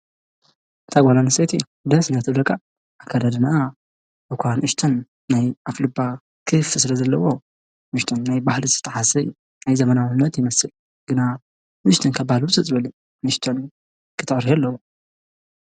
እታ ጓል ኣንስተይቲ ደስ እንድያ እትብለካ ።ኣከዳድነኣ እኳ ንእሽተን ናይ ኣፍልባ ክፍቲ ስለ ዘለዎ ንእሽተን ናይ ባህሊ ዝጠዓሰ ናይ ዘመናዊነት ይመስል ግና ንእሽተይ ካብ ባህሊ ውፅእ ዝበለ እዩ። ንእሽተይ ክተዕርዮ ኣለዋ።